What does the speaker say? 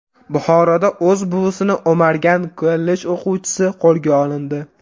Buxoroda o‘z buvisini o‘margan kollej o‘quvchisi qo‘lga olindi.